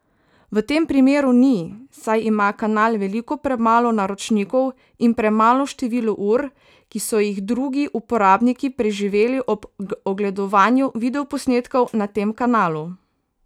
V tem primeru ni, saj ima kanal veliko premalo naročnikov in premalo število ur, ki so jih drugi uporabniki preživeli ob ogledovanju videoposnetkov na tem kanalu.